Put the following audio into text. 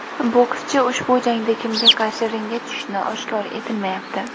Bokschi ushbu jangda kimga qarshi ringga tushishi oshkor etilmayapti.